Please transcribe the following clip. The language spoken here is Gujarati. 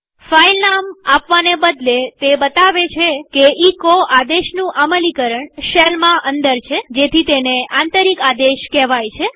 ફાઈલ નામ આપવાને બદલે તે બતાવે છે કે એચો આદેશનું અમલીકરણ શેલમાં અંદર છેજેથી તેને આંતરિક આદેશ કેહવાય છે